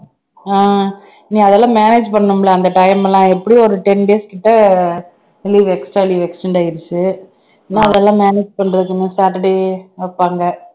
ஆஹ் அதெல்லாம் manage பண்ணணும் இல்ல அந்த time எல்லாம் எப்படியும் ஒரு ten days கிட்ட leave extra leave extend ஆயிருச்சு இன்னும் அதெல்லாம் manage பண்றதுன்னு saturday வைப்பாங்க